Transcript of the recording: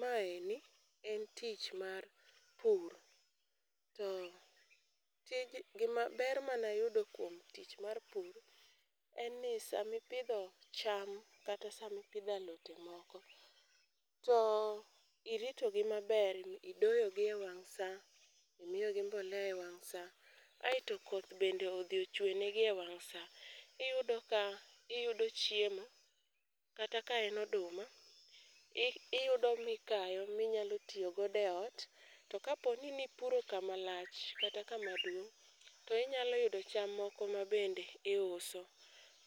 Maeni en tich mar pur, to ber manayudo kuom tich mar pur en ni samipidho cham kata sami pidho alode moko, to iritogi maber, idoyogi e wang' sa, imiyogi mbolea e wang' sa, aeto koth bende odhi ochwenengi e wang' sa, iyudo ka iyudo chiemo ,kata ka en oduma, iyudo mikayo, minyalo tiyo godo e ot, to kapo ni nipuro kamalcha kata kamaduong' to inyalo yudo cham moko ma bende iuso.